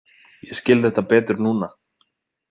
Ég skil þetta betur núna.